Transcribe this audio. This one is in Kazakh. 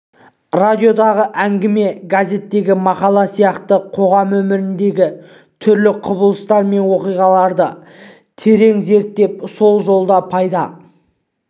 радиодағы әңгіме газеттегі мақала сияқты қоғам өміріндегі түрлі құбылыстар мен оқиғаларды терең зерттеп сол жолда пайда